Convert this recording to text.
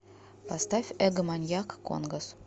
поставь эгоманьяк конгос